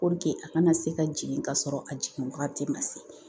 a kana se ka jigin ka sɔrɔ a jiginwagati ma se